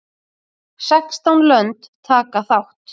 Sextán lönd taka þátt.